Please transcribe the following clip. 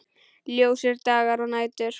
Ljósir dagar og nætur.